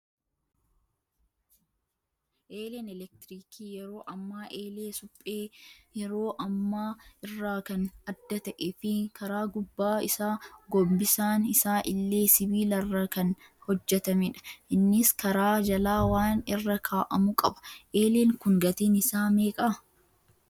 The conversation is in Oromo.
Eeleen eletiriikii yeroo ammaa eelee suphee yeroo ammaa irraa kan adda ta'ee fi karaa gubbaa isaa gombisaan isaa illee sibiilarraa kan hojjatamedha. Innis karaa jalaa waan irra kaa'amu qaba. Eeleen kun gatiin isaa meeqaa?